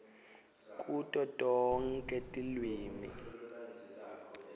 kuto tonkhe tilwimi